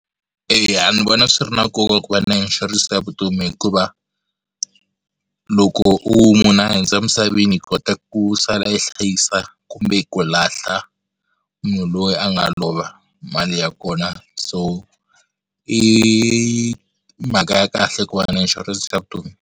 Eya ni vona swi ri na nkoka ku va na inshurense ya vutomi hikuva loko u munhu a hundza emisaveni hi kota ku sala i hlayisa kumbe ku lahla munhu loyi a nga lova hi mali ya kona so i mhaka ya kahle ku va na inshurense ya vutomi.